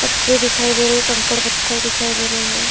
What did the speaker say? पटरी दिखाई दे रही है। कंकड़-पत्थर दिखाई दे रहे हैं।